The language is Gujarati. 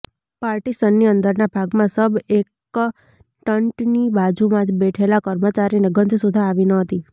પાર્ટીશનની અંદરના ભાગમાં સબ એકન્ટન્ટની બાજુમાં જ બેઠેલા કર્મચારીને ગંધ સુધા આવી ન હતી